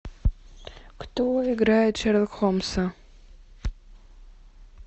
кто играет шерлок холмса